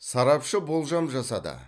сарапшы болжам жасады